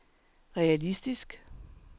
realistisk